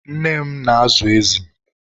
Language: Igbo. nne ma na-azụ ezi